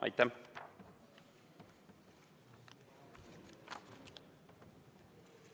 Aitäh!